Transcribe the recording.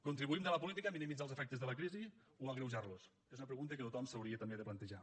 contribuïm des de la política a minimitzar els efectes de la crisi o a agreujarlos és una pregunta que tothom s’hauria també de plantejar